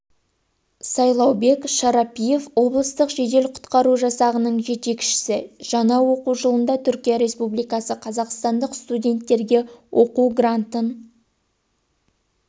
сайлаубек шарапиев облыстық жедел құтқару жасағының жетекшісі жаңа оқу жылында түркия республикасы қазақстандық студенттерге оқу грантын